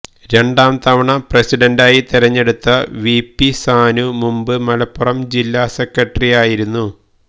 രണ്ടാം തവണ പ്രസിഡന്റായി തെരഞ്ഞെടുത്ത വിപി സാനു മുമ്പ് മലപ്പുറം ജില്ലാസെക്രട്ടറിയായിരുന്നു